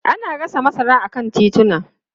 Ana gasa masara a kan tituna.